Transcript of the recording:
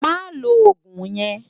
Má ló ógún yèn